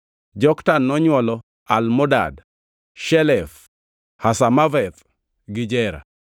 Joktan nonywolo: Almodad, Shelef, Hazarmaveth, gi Jera,